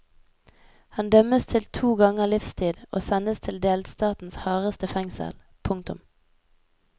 Han dømmes til to ganger livstid og sendes til delstatens hardeste fengsel. punktum